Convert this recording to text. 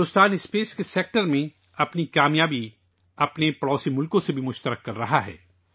دوستو، بھارت خلائی شعبے میں اپنی کامیابی اپنے پڑوسی ممالک کے ساتھ بھی بانٹ رہا ہے